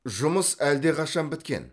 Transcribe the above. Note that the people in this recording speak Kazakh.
жұмыс әлдеқашан біткен